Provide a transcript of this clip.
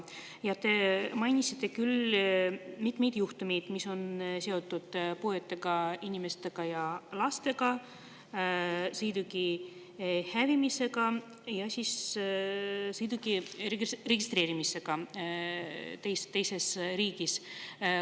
Ja te mainisite küll mitmeid juhtumeid, mis on seotud puuetega inimestega ja lastega, sõiduki hävimisega ja sõiduki registreerimisega teises riigis.